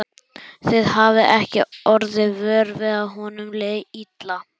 Þið hafið ekki orðið vör við að honum liði illa?